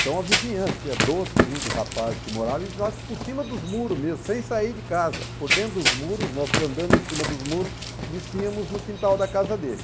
Então a vizinhança, tinha doze, quinze rapazes que moravam, e nós por cima dos muros mesmo, sem sair de casa, por dentro dos muros, nós andando em cima dos muros, descíamos no quintal da casa dele.